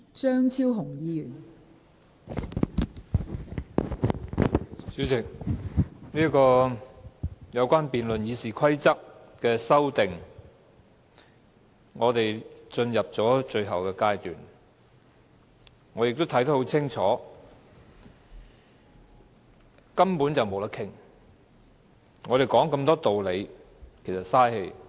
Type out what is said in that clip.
代理主席，有關修訂《議事規則》的辯論已經進入最後階段，而我亦已看得很清楚，根本沒有討論的餘地，我們拿出這麼多道理都是白說的。